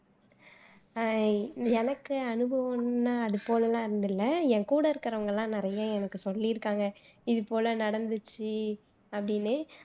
அஹ் எனக்கு அனுபவம்னா அது போல எல்லாம் இல்ல என் கூட இருக்குறவங்க எல்லாம் நிறைய எனக்கு சொல்லி இருக்காங்க இது போல நடந்துச்சு அப்படின்னு